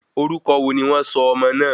Orúkọ wo ni wọn sọ ọmọ náà?